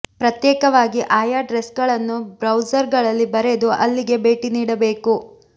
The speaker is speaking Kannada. ಪ್ರತ್ಯೇಕವಾಗಿ ಆಯಾ ಎಡ್ರೆಸ್ಗಳನ್ನು ಬ್ರೌಸರ್ ಗಳಲ್ಲಿ ಬರೆದು ಅಲ್ಲಿಗೆ ಭೇಟಿ ನೀಡಬೇಕು